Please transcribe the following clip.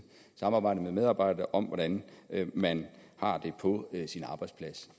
samarbejde med medarbejderne og om hvordan man har det på sin arbejdsplads